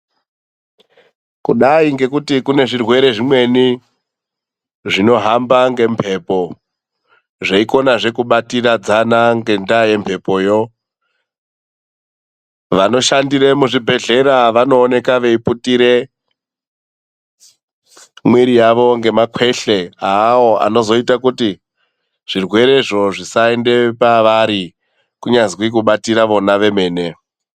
Kudai ngekuti kune zvirwere zvimweni zvinohamba ngemhepo zveikonazve kubatiridzana ngenda kwemhepoyo vanoshandire muzvibhedhlera vanooneka veiputire mwiri yavo ngemakweshe awo anozoita kuti zvirwerezvo zvisaende pavari kunyazwi kubatira vona vemene.